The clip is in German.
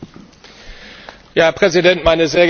Herr Präsident, meine sehr geehrten Damen und Herren!